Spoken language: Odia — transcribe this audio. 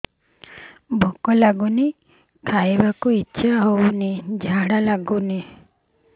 ଭୁକ ଲାଗୁନି ଖାଇତେ ଇଛା ହଉନି ଝାଡ଼ା ଲାଗୁନି